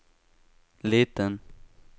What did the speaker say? liten